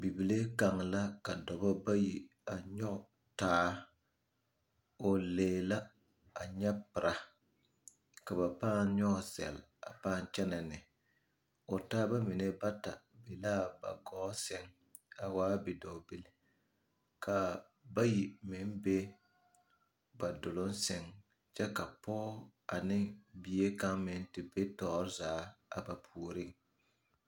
Bibile kaŋa la ka dɔbɔ bayi nyɔge taa k'o lee la nyɛ pira ka ba pããnyɔge zɛle k'o taaba mine bata be la ba gɔɔ sɛŋ a waa bidɔɔ bilii ka bayi meŋ be ba duluŋ sɛŋ kyɛ ka pɔge te be tɔɔre zaa a ba puoriŋ.